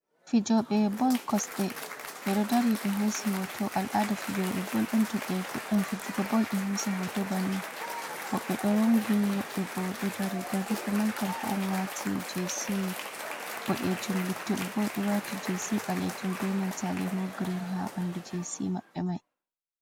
Fijoɓe bol kosde ɓeɗo dari ɓe hosi hoto alada fijoɓe bolɗum to ɓe fuɗdan fijuga bol ɓe hosa hoto banni woɓɓe ɗo rongini woɓɓe bo ɗo dari gol kippamai kanko on wati ass boɗejum lutteɓe bo ɗo wati glas ɓalejum benan ta limon green ha ɓandu jc maɓɓe mai.